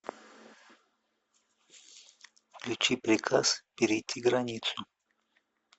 включи приказ перейти границу